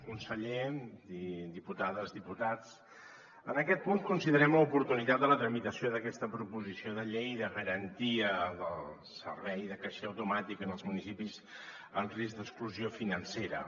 conseller diputades diputats en aquest punt considerem l’oportunitat de la tramitació d’aquesta proposició de llei de garantia del servei de caixer automàtic en els municipis en risc d’exclusió financera